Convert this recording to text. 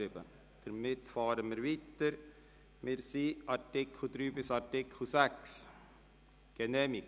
Wir fahren weiter mit den Artikeln 3 bis 6.